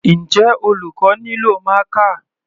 Njẹ́ olùkọ́ nílò marker?